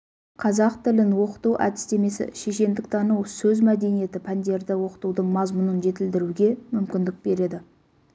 қазақ тілін оқыту әдістемесі шешендіктану сөз мәдениеті пәндерді оқытудың мазмұнын жетілдіруге мүмкіндік береді